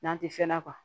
N'an tɛ fɛn na